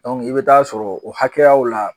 i bɛ taa sɔrɔ o hakɛyaw la